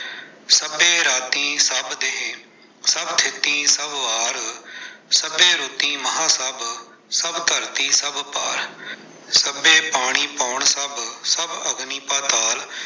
ਸਭੇ ਰਾਤੀ ਸਭ ਦੇਹ ਸਭ ਤਿਥਿ ਸਭ ਵਾਰ, ਸਭੇ ਰੁਤਿ ਮਾਹ ਸਭ, ਸਭ ਧਰਤਿ ਸਭ ਪਾਰ, ਸਭੇ ਪਾਣੀ ਪੌਣ ਸਭ, ਸਭ ਅਗਨਿ ਪਾਤਾਲ।